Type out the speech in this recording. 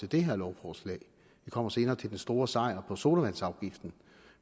det her lovforslag vi kommer senere til den store sejr sodavandsafgiften